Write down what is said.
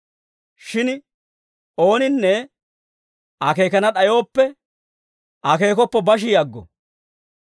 Shin ooninne akeekana d'ayooppe, akeekoppo bashi aggo.